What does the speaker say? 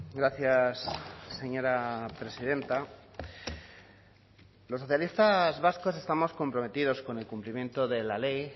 gracias señora presidenta los socialistas vascos estamos comprometidos con el cumplimiento de la ley